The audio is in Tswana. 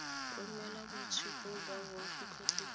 romela boitshupo ba boagi kgotsa